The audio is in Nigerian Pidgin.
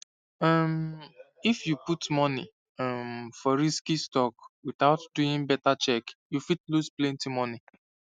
um if you put money um for risky stock without doing better check you fit lose plenty money